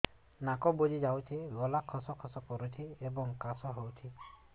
ନାକ ବୁଜି ଯାଉଛି ଗଳା ଖସ ଖସ କରୁଛି ଏବଂ କାଶ ହେଉଛି